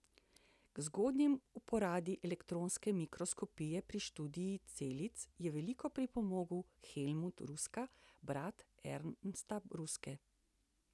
K zgodnji uporabi elektronske mikroskopije pri študiju celic je veliko pripomogel Helmut Ruska, brat Ernsta Ruske.